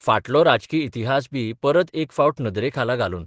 फाटलो राजकी इतिहासबी परत एक फावट नदरेखाला घालून.